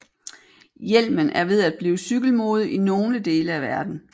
Hjelmen er ved at blive cykelmode i nogle dele af verden